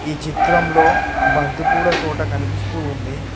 ఈ చిత్రంలో బంతిపూల తోట కనుపిస్తూ ఉంది.